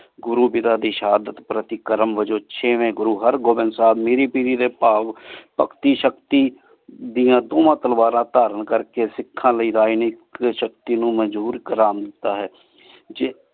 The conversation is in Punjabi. ਗੁਰੂ ਵੀਰਾ ਦੀ ਸ਼ਹਾਦਤ ਪ੍ਰਤੀ ਵਜਾਹ ਤੋ ਥ ਗੁਰੁਹਾਰ੍ਬਿੰਦ ਗੋਵਿੰਦ ਸਾਹੇਬ ਮੇਰ੍ਰੀ ਪੇਰ੍ਰੀ ਡੀ ਭਾਵ ਭਗਤੀ ਸ਼ਕਤੀ ਡਿਯਨ ਦੋਹਾਂ ਤਲਵਾਰਾਂ ਧਾਰਨ ਕਰ ਕੀ ਸਿਖਾਂ ਲੈ ਰਹੀ ਨੇਕ ਦੀ ਸ਼ਕਤੀ ਨੂ ਮਾਜ੍ਬੋਰ ਕਰਨ ਦਿਤਾ ਹੈ